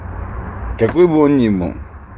какой бы он ни был